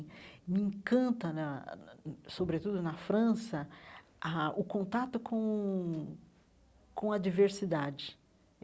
Me encanta na, sobretudo na França, ah o contato com com a diversidade.